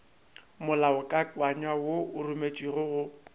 molaokakanywa wo o rometšwego go